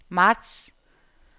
marts